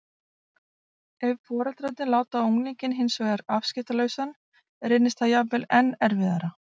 Ef foreldrarnir láta unglinginn hins vegar afskiptalausan reynist það jafnvel enn erfiðara.